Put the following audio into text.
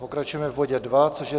Pokračujeme v bodě 2, což je